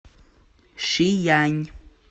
шиянь